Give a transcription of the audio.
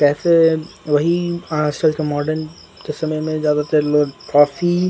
कैसे वही आजकल का मॉडर्न समय में ज्यादातर लोग कॉफी।